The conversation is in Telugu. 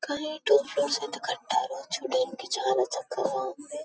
కానీ ఈ టు ఫ్లోర్స్ అయితే కట్టారు చూడ్డానికి చాలా చక్కగా ఉంది.